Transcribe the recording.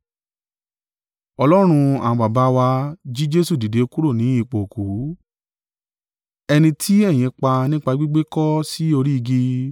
Ọlọ́run àwọn baba wa jí Jesu dìde kúrò ní ipò òkú, ẹni tí ẹ̀yin pa nípa gbígbékọ́ sí orí igi.